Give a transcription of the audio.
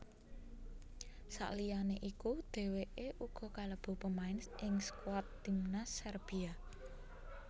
Sakliyane iku dhèwèké uga kalebu pemain ing skuad timnas Serbia